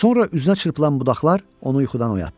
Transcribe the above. Sonra üzünə çırpılan budaqlar onu yuxudan oyatdı.